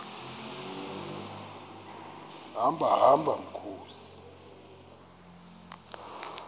hamba hamba mkhozi